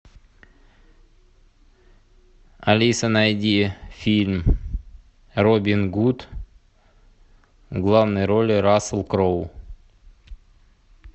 алиса найди фильм робин гуд в главной роли рассел кроу